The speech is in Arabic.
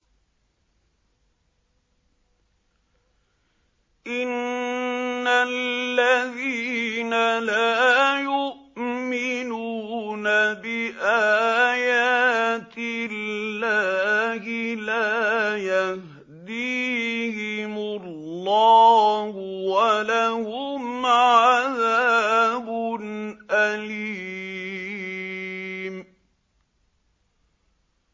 إِنَّ الَّذِينَ لَا يُؤْمِنُونَ بِآيَاتِ اللَّهِ لَا يَهْدِيهِمُ اللَّهُ وَلَهُمْ عَذَابٌ أَلِيمٌ